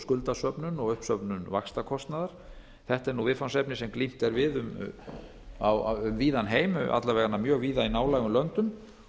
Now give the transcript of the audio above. skuldasöfnun og uppsöfnun vaxtakostnaðar þetta er nú viðfangsefni sem glímt er við um víðan heim að minnsta kosti mjög víða í nálægum löndum